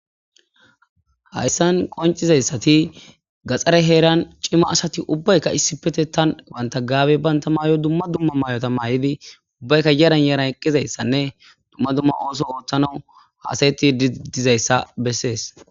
Hayissan qonccizayisati gaxxare heranni cima asati issippeteththan ubbayikka banita Gabe banita mayo dumma dumma mayota mayiddi ubbayikka yaranni yaranni eqizayissanne dumma dumma oththo oththanawu hasayettid dizayissa besees.